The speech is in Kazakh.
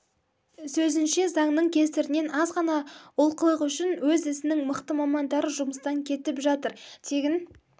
сөзінше заңның кесірінен аз ғана олқылық үшін өз ісінің мықты мамандары жұмыстан кетіп жатыр тегін